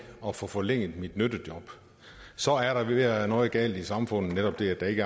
og få forlænget ens nyttejob så er der ved at være noget galt i samfundet netop det at der ikke